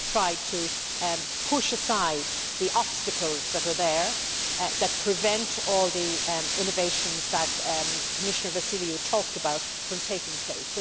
So we have tried to push aside the obstacles that are there and that prevent all the innovations that Commissioner Vassiliou talked about from taking place.